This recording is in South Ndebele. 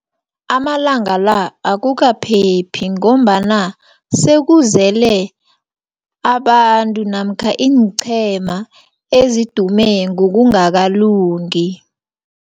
Amalanga la, akukaphephi, ngombana sekuzele abantu, namkha iinqhema ezidume ngokungakalungi.